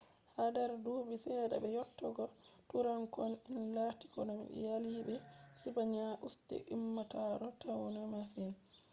hader dubi sedda be yottogo tuuranko'en laggitobe jaalibe sipaniya usti ummatore tainos masin